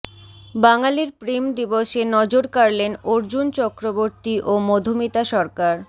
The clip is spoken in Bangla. বাঙালির প্রেম দিবসে নজর কাড়লেন অর্জুন চক্রবর্তী ও মধুমিতা সরকার